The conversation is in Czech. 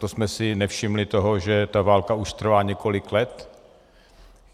To jsme si nevšimli toho, že ta válka už trvá několik let?